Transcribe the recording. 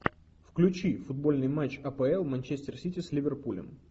включи футбольный матч апл манчестер сити с ливерпулем